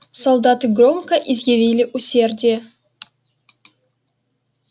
солдаты громко изъявили усердие